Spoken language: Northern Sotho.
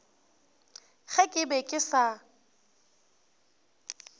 ge ke be ke sa